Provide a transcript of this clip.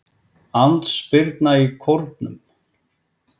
Andspyrna í Kórnum